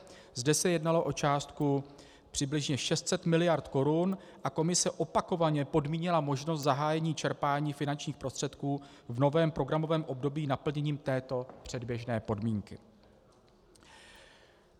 Zde se jednalo o částku přibližně 600 mld. korun a Komise opakovaně podmínila možnost zahájení čerpání finančních prostředků v novém programovém období naplněním této předběžné podmínky.